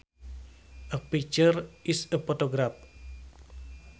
A picture is a photograph